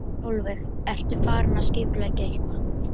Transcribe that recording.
Sólveig: Ertu farin að skipuleggja eitthvað?